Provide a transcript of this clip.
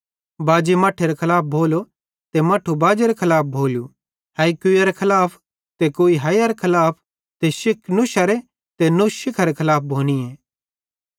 बाजी मट्ठेरे खलाफ भोलो ते मट्ठू बाजेरे खलाफ भोलू हैई कुइयरे खलाफ ते कुई हैईयरे खलाफ ते शिख नुशारे ते नुश शिखारे खलाफ भोनीए